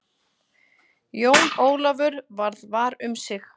Jón Ólafur varð var um sig.